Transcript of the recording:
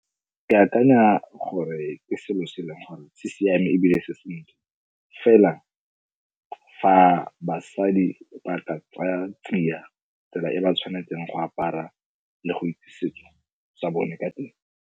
Ke akanya gore ke selo se e leng gore se siame ebile se sentle fela fa basadi o ba ka tsaya tsia tsela e ba tshwanetseng go apara le go itse setso sa bone ka teng.